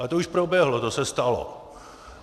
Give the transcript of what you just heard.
Ale to už proběhlo, to se stalo.